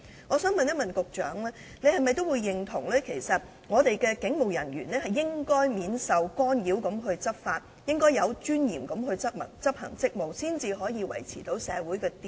我想問局長，是否認同香港的警務人員應該免受干擾地執法和有尊嚴地執行職務，以便維持社會秩序？